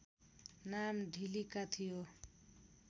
नाम ढिलिका थियो